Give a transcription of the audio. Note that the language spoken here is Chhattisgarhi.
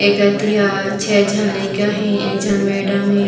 ये कती हा छे झन लईका हे एक झन मैडम हे।